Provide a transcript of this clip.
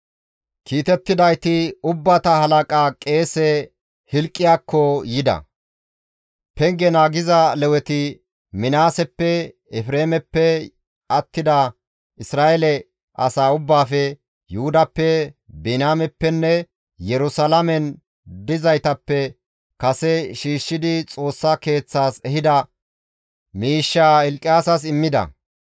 Kiitettidayti ubbata halaqa qeese Hilqiyaasakko yida; penge naagiza Leweti Minaaseppe, Efreemeppe, attida Isra7eele asaa ubbaafe, Yuhudappe, Biniyaameppenne Yerusalaamen dizaytappe kase shiishshidi Xoossa Keeththaas ehida miishshaa Hilqiyas immida.